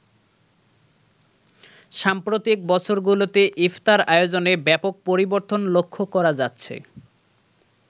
সাম্প্রতিক বছর গুলোতে ইফতার আয়োজনে ব্যাপক পরিবর্তন লক্ষ্য করা যাচ্ছে।